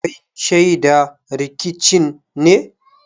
Kai shaida rikicin ne?